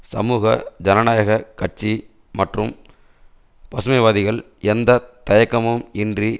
சமூக ஜனநாயக கட்சி மற்றும் பசுமைவாதிகள் எந்த தயக்கமும் இன்றி